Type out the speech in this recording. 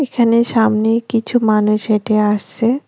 এখানে সামনে কিছু মানুষ হেঁটে আসছে।